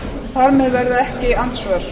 þar með verða ekki andsvör